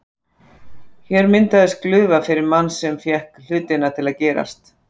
Hér myndaðist glufa fyrir mann sem fékk hlutina til að gerast.